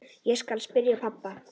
Ég skal spyrja pabba.